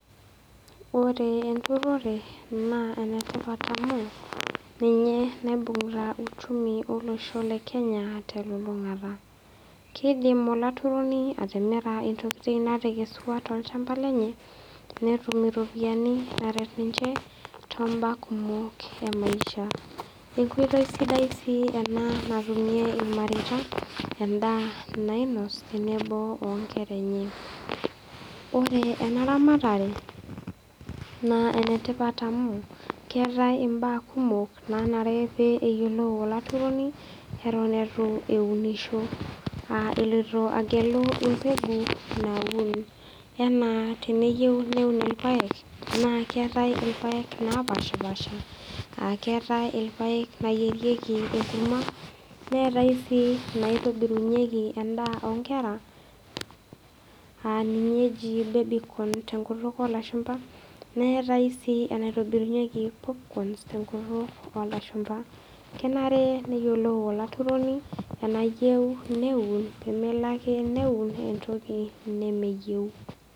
Ore enturore naa enetipat amu ninye naibung'ita uchumi olosho le Kenya telulung'ata. Keidim olaturoni atimira intokitin natekesua tolchamba lenye netum iropiani naret ninche too mbaa kumok emaisha. Enkoitoi sidai sii ena natumie ilmareita endaa nainosh tenebo o nkera enye. Ore ena ramatare naa enetipat amu keatai imbaa kumok nanare neyolou olaturoni eton eitu eunisho, eloito agelu embegu naun. Anaa teneyeu neun ilpaek, naa keatai ilpaek lopaashipaasha, keatai ilpaek nayierieki enkurma, neatai sii enaitobirieki endaa o nkera a ninye eji baby corn tenkutuk olashumba neatai sii enaitobirunyieki porpcorns tenkutuk olashumba. Kenare neyiolou olaturoni enayeu neun pemelo ake neun entoki nemeyeu.